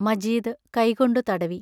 മജീദ് കൈകൊണ്ടു തടവി.